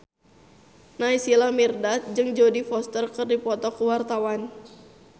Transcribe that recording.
Naysila Mirdad jeung Jodie Foster keur dipoto ku wartawan